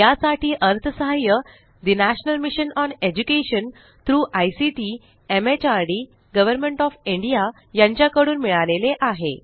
यासाठी अर्थसहाय्य national mission on education through ICT MHRD government of India यांच्याकडून मिळालेले आहे